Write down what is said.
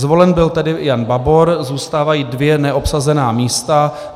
Zvolen byl tedy Jan Babor, zůstávají dvě neobsazená místa.